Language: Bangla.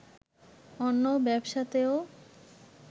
অন্য ব্যবসাতেও